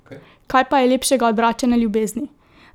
Kaj pa je lepšega od vračane ljubezni?